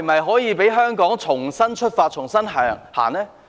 可否讓香港重新出發、重新向前走呢？